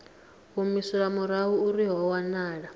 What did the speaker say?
humiselwa murahu arali ho wanala